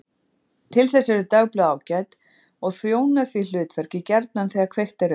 Til þess eru dagblöð ágæt og þjóna því hlutverki gjarnan þegar kveikt er upp.